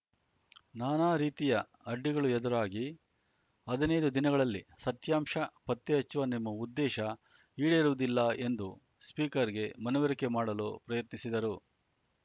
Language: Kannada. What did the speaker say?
ನಾನಾ ರೀತಿಯ ಅಡ್ಡಿಗಳು ಎದುರಾಗಿ ಹದಿನೈದು ದಿನಗಳಲ್ಲಿ ಸತ್ಯಾಂಶ ಪತ್ತೆಹಚ್ಚುವ ನಿಮ್ಮ ಉದ್ದೇಶ ಈಡೇರುವುದಿಲ್ಲ ಎಂದು ಸ್ಪೀಕರ್‌ಗೆ ಮನವರಿಕೆ ಮಾಡಲು ಪ್ರಯತ್ನಿಸಿದರು